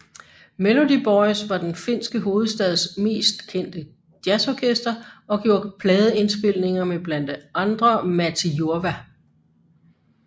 Melody Boys var den finske hovedstads mest kendte jazzorkester og gjorde pladeindspilninger med blandt andre Matti Jurva